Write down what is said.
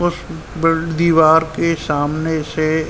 उस बिल दीवार के सामने से --